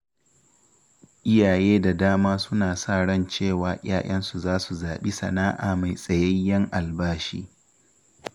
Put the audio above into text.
Iyaye da dama suna sa ran cewa ‘ya‘yansu zasu zaɓi sana’a mai tsayayyen albashi.